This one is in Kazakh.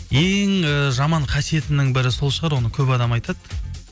ең ііі жаман қасиетімнің бірі сол шығар оны көп адам айтады